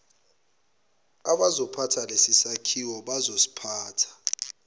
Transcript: abazophatha lesisakhiwo bazosiphatha